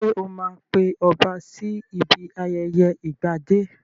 Sọ ma pe ọba sí ibi ayẹyẹ ìgbadé?